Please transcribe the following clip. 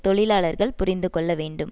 தொழிலாளர்கள் புரிந்துகொள்ள வேண்டும்